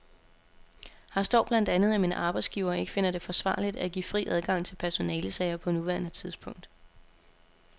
Her står blandt andet, at min arbejdsgiver ikke finder det forsvarligt at give fri adgang til personalesager på nuværende tidspunkt.